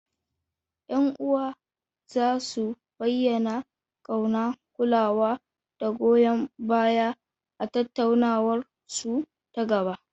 Yan uwa za su bayyana kauna, kulawa, da goyon baya a tattaunawarsu ta gaba.